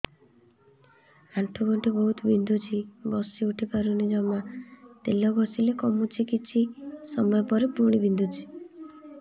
ଆଣ୍ଠୁଗଣ୍ଠି ବହୁତ ବିନ୍ଧୁଛି ବସିଉଠି ପାରୁନି ଜମା ତେଲ ଘଷିଲେ କମୁଛି କିଛି ସମୟ ପରେ ପୁଣି ବିନ୍ଧୁଛି